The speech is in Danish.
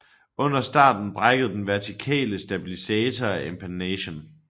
Under starten brækkede den vertikale stabilisator af empennagen